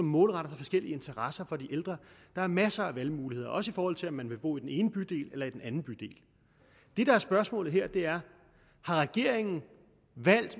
målrettet forskellige interesser for de ældre og der er masser af valgmuligheder også i forhold til om man vil bo i den ene bydel eller i den anden bydel det der er spørgsmålet her er har regeringen